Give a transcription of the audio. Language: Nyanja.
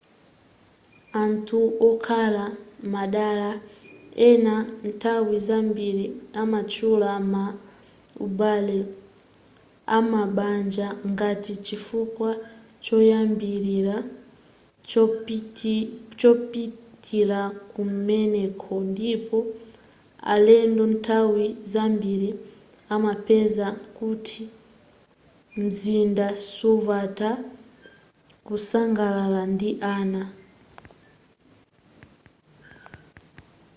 anthu okhala madela ena nthawi zambiri amatchula ma ubale am'mabanja ngati chifukwa choyambilira chopitila kumeneko ndipo alendo nthawi zambiri amapeza kuti mzinda suvuta kusangalala ndi ana